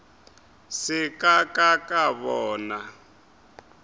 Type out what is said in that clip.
se ka ka ka bona